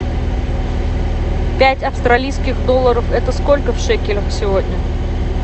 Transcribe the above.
пять австралийских долларов это сколько в шекелях сегодня